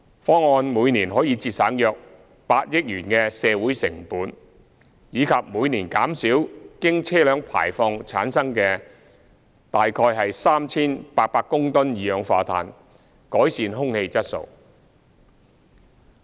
方案每年可節省約8億元的社會成本，以及每年減少經車輛排放產生的約 3,800 公噸二氧化碳，改善空氣質素。